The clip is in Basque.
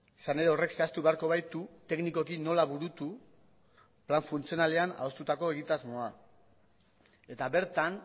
izan ere horrek zehaztu beharko baitu teknikoki nola burutu plan funtzionalean adostutako egitasmoa eta bertan